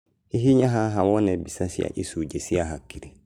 Hihinya haha wone mbica ya icunjĩ cia hakiri